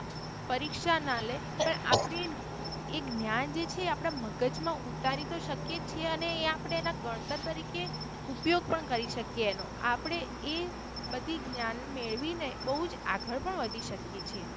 પરીક્ષા ના લે પણ આપણે એ જ્ઞાન જે છે એ મગજ માં ઉતારી તો શકીયે છીએ અને એ આપણે એના ગણતર તરીકે ઉપયોગ પણ કરી શકીયે એનો આપડે એ બધી જ્ઞાન મેળવીને બહુજ આગળ પણ વધી શકીયે છીએ.